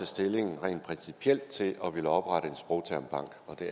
stilling rent principielt til at ville oprette en sprogtermbank og den